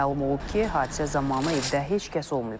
Məlum olub ki, hadisə zamanı evdə heç kəs olmayıb.